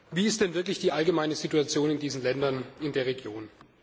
Wie ist denn wirklich die allgemeine Situation in diesen Ländern in der Region?